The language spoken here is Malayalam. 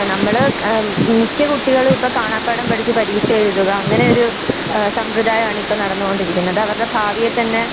നമ്മള് ആ മിക്കകുട്ടികളും ഇപ്പൊ കാണാപ്പാഠം പഠിച്ചു പരീക്ഷയെഴുതുക അങ്ങനെയൊരു സമ്പ്രദായമാണിപ്പം നടന്നുകൊണ്ടിരിക്കുന്നത്. അതവരുടെ ഭാവിയെ തന്നെ.